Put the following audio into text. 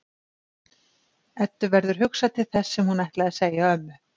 Eddu verður hugsað til þess sem hún ætlaði að segja ömmu.